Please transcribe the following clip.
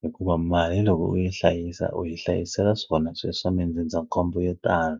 hikuva mali loko u yi hlayisa u yi hlayisela swona sweswo mindzindzakhombo yo tala.